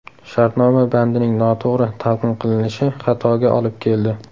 Shartnoma bandining noto‘g‘ri talqin qilinishi xatoga olib keldi.